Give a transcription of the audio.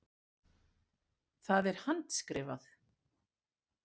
Það er handskrifað.